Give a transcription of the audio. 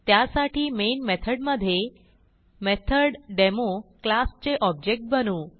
त्यासाठी मेन मेथडमधे method demo class चे ऑब्जेक्ट बनवू